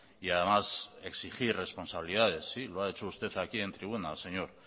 y además exigir responsabilidades sí lo ha hecho usted aquí en tribuna señor